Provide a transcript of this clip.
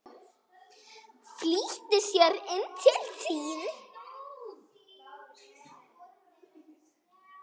Flýtti sér inn til sín.